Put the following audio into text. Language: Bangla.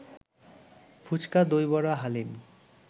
ফুচকা, দই বড়া, হালিম